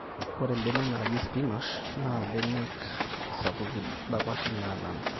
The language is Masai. ore imbenek naaji sipinash naa mbenek sapuki dapashi nenana